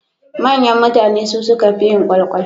Manyan mutane su suka fiye yin kwalkwal.